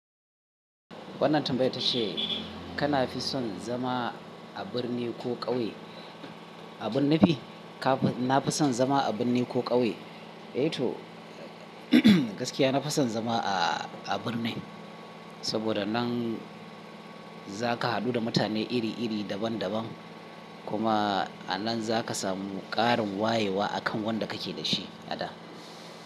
Wannan tambayan tace kana fi son zama a birni ko ƙauye. Abin nufi kafi na fi son zama a birni ko ƙauye. Eh to umum gaskiya na fi son zama a a birni saboda nan za ka haɗu da mutane iri iri daban daban kuma a nan za ka samu ƙarin wayewa akan wanda kake da shi a da.